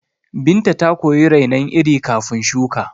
Binta ta koyi rainon iri kafin shuka